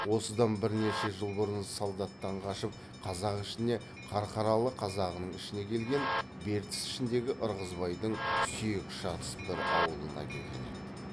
осыдан бірнеше жыл бұрын солдаттан қашып қазақ ішіне қарқаралы қазағының ішіне келген бертіс ішіндегі ырғызбайдың сүйек шатыс бір аулына келген еді